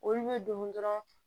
Olu bɛ don dɔrɔn